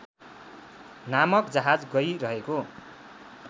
नामक जहाज गइरहेको